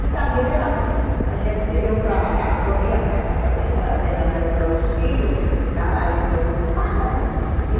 E também era porque a gente eu trabalhava, corria para casa para ir a ver a meus dois filhos, que ficava eu preocupada né.